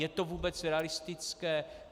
Je to vůbec realistické?